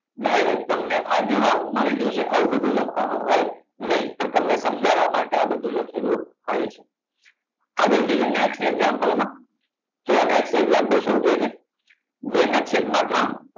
direct તમને આ જવાબ મળી જશે આવું બધું લખવા નું હોય નહી પણ તમને સમજવવા માટે આ બધું લખેલું હોય છે આગળ જઈએ next example માં જુઓ next example શું કે છે બે નાં છેદ, આ ત્રણ